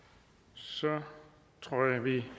så tror jeg det